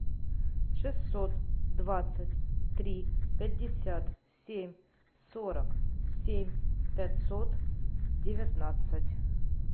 шестьсот двадцать три пятьдесят семь сорок семь пятьсот девятнадцать